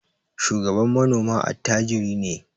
Shugaban manoma attajiri ne.